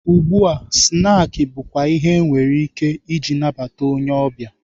Ugbua, snaakị bụkwa ihe enwere ike ije nabata onye ọbịa.